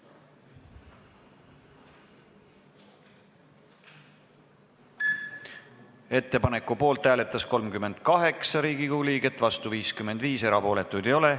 Hääletustulemused Ettepaneku poolt hääletas 38 Riigikogu liiget, vastu oli 55, erapooletuid ei ole.